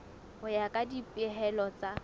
ho ya ka dipehelo tsa